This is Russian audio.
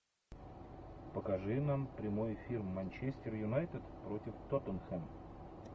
покажи нам прямой эфир манчестер юнайтед против тоттенхэм